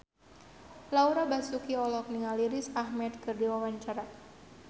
Laura Basuki olohok ningali Riz Ahmed keur diwawancara